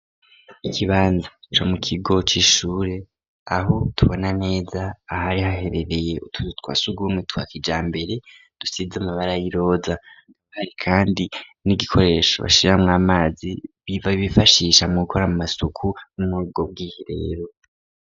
Ikibanza co mu kigo c'ishure, aho tubona neza ahari haherereye utuzu twa sugumwe twa kijambere dusize amabara y'iroza, kandi n'igikoresho bashiramwo amazi bifashisha mu gukora amasuku muri ubwo bwiherero.